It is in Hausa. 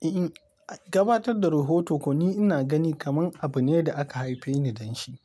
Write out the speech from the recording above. Eh, gabatar da rahoto kuwa ni ina gani kamar abune da aka haife ni don shi.